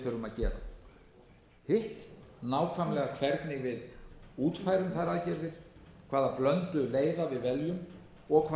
að gera hitt nákvæmlega hvernig við útfærum þær aðgerðir hvaða blöndu leiða við veljum og hvaða